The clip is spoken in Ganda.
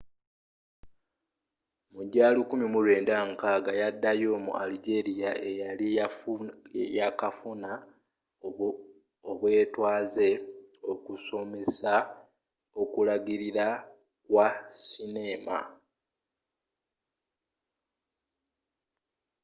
mu gya 1960 yaddayo mu algeria eyali yakafuna obwetwaze okusomesa okulagirira kwa sineema